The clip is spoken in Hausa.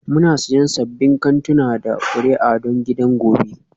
Muna siyan sabbin kantuna da kuri'a don gidan gobe